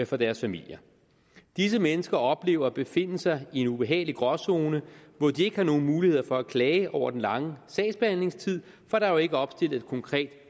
for deres familier disse mennesker oplever at befinde sig i en ubehagelig gråzone hvor de ikke nogen muligheder for at klage over den lange sagsbehandlingstid for der er jo ikke opstillet et konkret